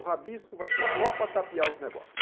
O rabisco vai ser só para tapear os negócios.